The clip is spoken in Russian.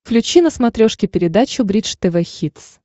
включи на смотрешке передачу бридж тв хитс